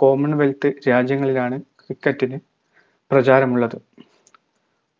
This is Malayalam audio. commonwealth രാജ്യങ്ങളിലാണ് cricket ന് പ്രചാരമുള്ളത്